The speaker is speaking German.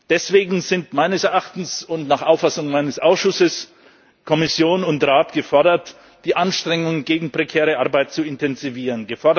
Deswegen sind meines Erachtens und nach Auffassung meines Ausschusses Kommission und Rat gefordert, die Anstrengungen gegen prekäre Arbeit zu intensivieren.